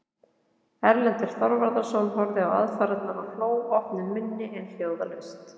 Erlendur Þorvarðarson horfði á aðfarirnar og hló opnum munni en hljóðlaust.